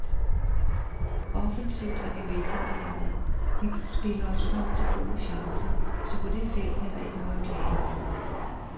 Offensivt er vi velfungerende, vi spiller os frem til gode chancer, så på det felt er der ikke noget at klage over.